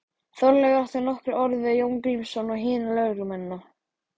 Þorleifur átti nokkur orð við Jón Grímsson og hina lögréttumennina.